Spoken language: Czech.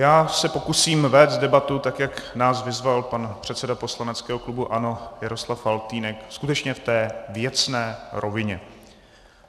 Já se pokusím vést debatu tak, jak nás vyzval pan předseda poslaneckého klubu ANO Jaroslav Faltýnek, skutečně v té věcné rovině.